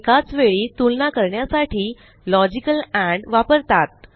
एकाचवेळी तुलना करण्यासाठी लॉजिकल एंड वापरतात